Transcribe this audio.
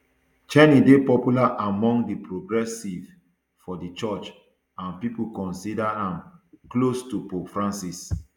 czerny dey popular among di progressives for di church and pipo consider am close to pope francis